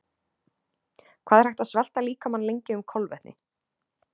Hvað er hægt að svelta líkamann lengi um kolvetni?